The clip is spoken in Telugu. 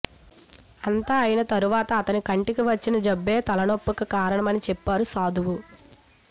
అంతా అయిన తర్వాత అతని కంటికి వచ్చిన జబ్బే తలపోటుకు కారణమని చెప్పాడు సాధువు